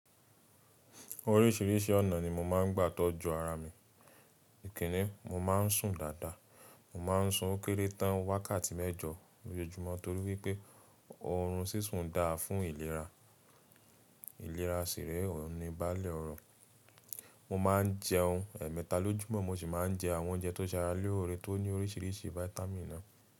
Oríṣìíríṣìí ọ̀nà ni mo máa ń gbà tọ́jú ara mi. Ìkíni, mo má n sùn dáadáa. Mo ma n sùn ó kéré tán wákàtí mẹ́jọ lójoojúmọ́ torí wípé oorun sísùn dára fún ìlera. Ìlera sì rèé óun ni baálẹ̀ ọrọ. Mo ma n jẹun ẹ̀ẹ̀mẹta lójúmọ́ mo sì má n jẹ àwọn oúnjẹ tó ṣe ara lóore tó ní oríṣìíríṣìí fáítámì̀nì náà.